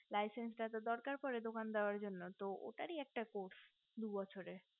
laichech টা তো দরকার পরে দোকান দেওয়ার জন্য তো ও তারই একটা course দু বছরের